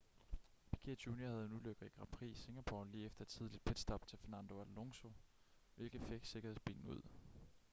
piquet jr havde en ulykke i grand prix i singapore lige efter et tidligt pitstop til fernando alonso hvilket fik sikkerhedsbilen ud